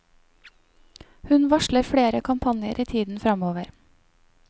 Hun varsler flere kampanjer i tiden fremover.